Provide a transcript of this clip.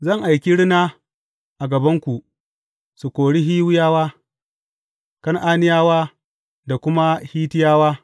Zan aiki rina a gabanku, su kori Hiwiyawa, Kan’aniyawa da kuma Hittiyawa.